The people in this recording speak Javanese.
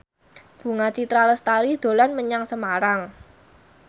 Bunga Citra Lestari dolan menyang Semarang